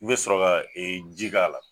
N be sɔrɔ ka ji k'a la.